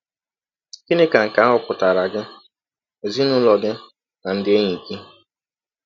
Gịnị ka nke ahụ pụtaara gị, ezinụlọ gị, na ndị enyi gị?